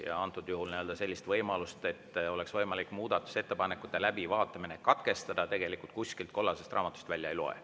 Ja antud juhul sellist võimalust, et oleks võimalik muudatusettepanekute läbivaatamine katkestada, tegelikult kuskilt kollasest raamatust välja ei loe.